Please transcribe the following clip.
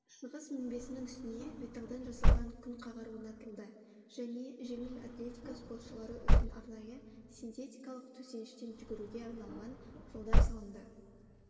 шығыс мінбесінің үстіне металдан жасалған күнқағар орнатылды және жеңіл атлетика спортшылары үшін арнайы синтетикалық төсеніштен жүгіруге арналған жолдар салынды